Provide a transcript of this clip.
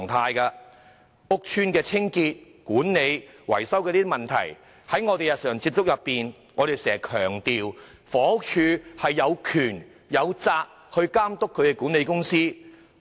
關於屋邨清潔、管理和維修的問題，在我們日常處理有關工作時，我們經常強調房署有權力、有責任監管屋邨的管理公司。